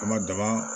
An ma daba